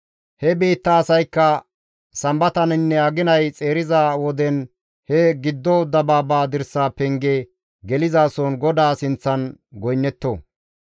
He biitta asaykka Sambataninne aginay xeeriza woden he giddo dabaaba dirsa penge gelizason GODAA sinththan goynnetto.